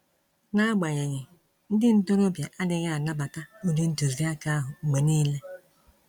N'agbanyeghị, ndị ntorobịa adịghị anabata ụdị ntuziaka ahụ mgbe niile.